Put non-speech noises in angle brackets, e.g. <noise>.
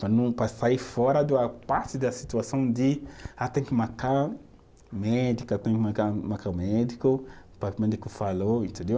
<unintelligible> Para sair fora do a parte da situação de ah, tem que marcar médico, tem que marcar médico, médico falou, entendeu?